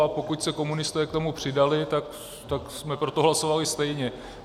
A pokud se komunisté k tomu přidali, tak jsme pro to hlasovali stejně.